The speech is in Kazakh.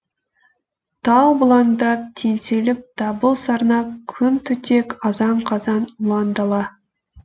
тау бұлаңдап теңселіп дабыл сарнап құм түтек азан қазан ұлан дала